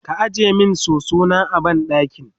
ka ajiye min soso na a banɗaki?